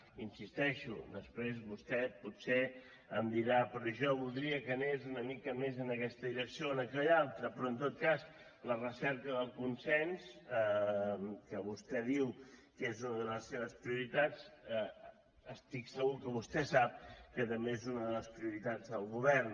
i hi insisteixo després vostè potser em dirà però jo voldria que anés una mica més en aquesta direcció o en aquella altra però en tot cas la recerca del consens que vostè diu que és una de les seves prioritats estic segur que vostè sap que també és una de les prioritats del govern